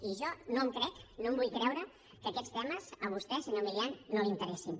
i jo no em crec no em vull creure que aquests temes a vostè senyor milián no l’interessin